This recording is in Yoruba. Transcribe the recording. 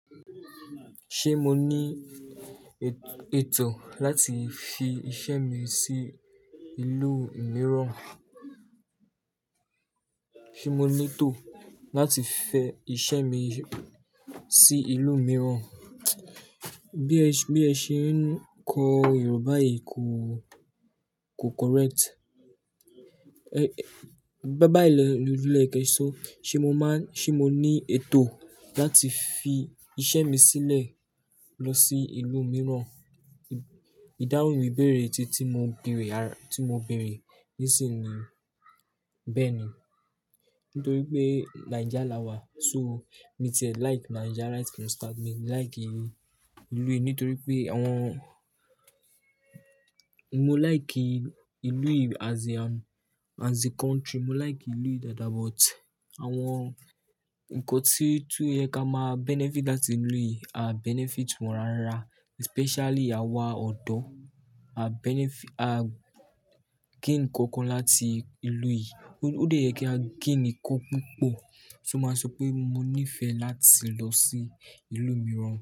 Ṣé mo ní ètò láti fi iṣẹ́ mi sí ìlú mìíràn? Ṣé mo ní ètò láti fẹ iṣẹ́ mi sí ìlú mìíràn? Bí ẹ ṣe ń kọ Yorùbá yìí kò, kò correct. Bayi lọ, ní oye kẹṣọ, ṣe mo má ń, ṣe mo ní ètò láti fi iṣẹ́ mi sílẹ̀ lọ sí ìlú mìíràn? Ìdáhùn ìbéèrè tí, tí mo bèèrè, tí mo bèèrè nísìnyí bẹ́ẹ̀ ni. Nítorí pé Nija la wà, so mi ti like Nija right from start. Mi like ìlú yìí nítorí pé àwọn-- mo like ìlú yìí as a, as a country. Mo like ìlú yìí dada but àwọn nǹkan tí tún yẹ ká má benefit láti ìlú yìí a benefit wọn rárá. Especially àwa ọ̀dọ́ a benefit, a gain nǹkan kan láti ìlú yìí. Ó dè yẹ kí á gain nǹkan púpọ̀. To màá sọ pé mo níìfẹ̀ láti lọ sí ìlú mìíràn.